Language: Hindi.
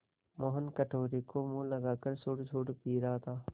मोहन कटोरे को मुँह लगाकर सुड़सुड़ पी रहा था